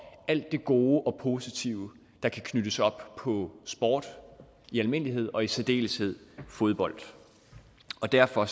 alt det gode og positive der kan knyttes op på sport i almindelighed og i særdeleshed fodbold derfor